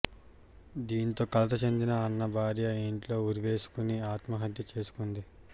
దీంతో కలత చెందిన అన్న భార్య ఇంట్లో ఉరివేసుకుని ఆత్మహత్య చేసుకుంది